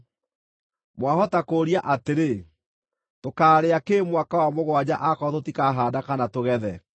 Mwahota kũũria atĩrĩ, “Tũkaarĩa kĩ mwaka wa mũgwanja aakorwo tũtikahaanda kana tũgethe?”